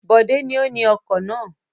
Bọ̀dé ni ó ni ọkọ̀ náà.